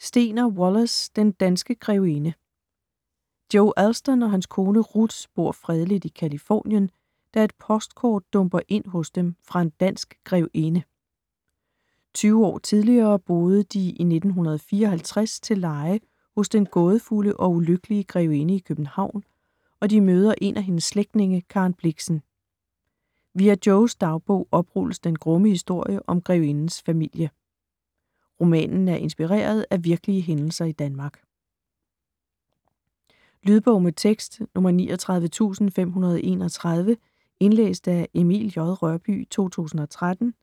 Stegner, Wallace: Den danske grevinde Joe Allston og hans kone Ruth bor fredeligt i Californien, da et postkort dumper ind hos dem fra en dansk grevinde. 20 år tidligere boede de i 1954 til leje hos den gådefulde og ulykkelige grevinde i København, og de møder en af hendes slægtninge, Karen Blixen. Via Joes dagbog oprulles den grumme historie om grevindens familie. Romanen er inspireret af virkelige hændelser i Danmark. Lydbog med tekst 39531 Indlæst af Emil J. Rørbye, 2013.